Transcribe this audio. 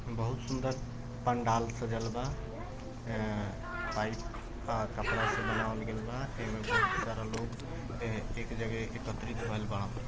बहुत सुन्दर पंडाल सजल बा। ए-पाईप अ- कपड़ा से बनावल गइल बा एमे बहुत सारा लोग ए-एक जगह एकत्रित भइल बाड़न।